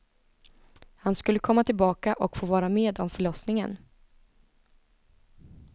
Han skulle komma tillbaka och få vara med om förlossningen.